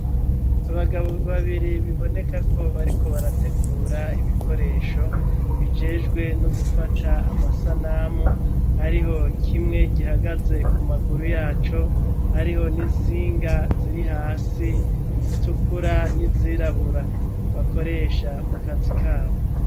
abagabo babiri bibonekako bariko barategura ibikoresho bijejwe no gufata amasanamu hariho kimwe gihagaze ku maguru yacu hariho n'intsinga ziri hasi zitukura n'izirabura bakoresha mu kazi kabo